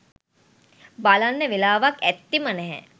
බලන්න වෙලාවක් ඇත්තෙම නැහැ.